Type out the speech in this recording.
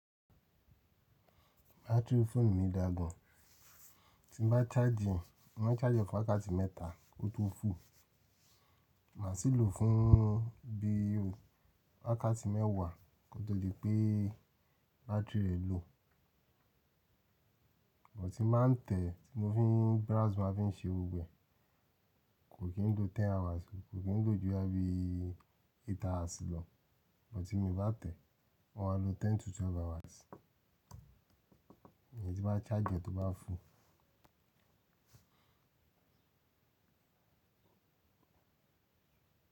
Battery phone mi dagun. Tí n bá charge, mo máa charge fún akáàti mẹ́ta kó tó fò. Màá sì lò fún bí i akáàti mẹ́wàá kó tó di pé battery rẹ̀ lò. Mo ti máa ń tẹ̀ tí mo fi browse máa fi ń ṣe ewé. Kò kí n gbó ten hours, kò kí n gbó jù ẹbí eight hours lọ. Bó ti mo bá tẹ̀, ó máa lo ten to twelve hours. Èyí tí bá charge tó bá fò.